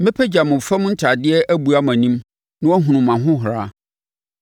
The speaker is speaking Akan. Mɛpagya mo fam ntadeɛ abua mo anim na wɔahunu mo ahohora.